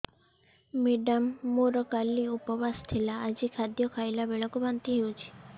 madam ମୋର କାଲି ଉପବାସ ଥିଲା ଆଜି ଖାଦ୍ୟ ଖାଇଲା ବେଳକୁ ବାନ୍ତି ହେଊଛି